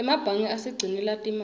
emebange asigcinela timali